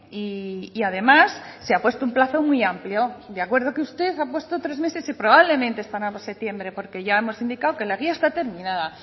y además se apuesto un plazo muy amplio de acuerdo que usted ha puesto tres meses y probablemente estará para septiembre porque ya hemos indicado que la guía está terminada